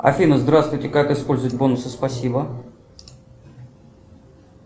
афина здравствуйте как использовать бонусы спасибо